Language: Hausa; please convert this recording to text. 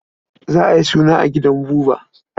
Za a yi suna a gidan Buba?